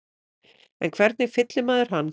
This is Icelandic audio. En hvernig fyllir maður hann?